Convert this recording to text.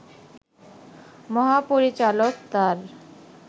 মহাপরিচালক তাঁর